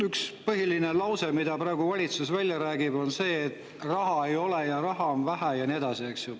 Üks põhiline, mida valitsus praegu räägib, on see, et raha ei ole, raha on vähe ja nii edasi.